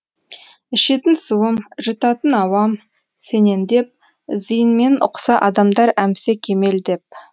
ішетін суым жұтатын ауам сенен деп зиынмен ұқса адамдар әмсе кемел деп